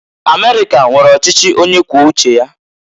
Amerika nwere ọchịchị onye kwuo uche ya.